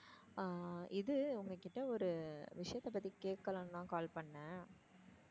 ஆஹ் இது உங்ககிட்ட ஒரு விஷயத்த பத்தி கேக்லான்னு தான் call பண்ணேன்.